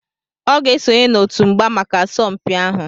Ọ ga-esonye n'otu mgba maka asọmpi ahụ